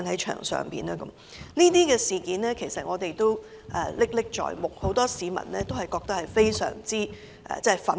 這些事件，我們其實仍然歷歷在目，很多市民對此均感到非常憤怒。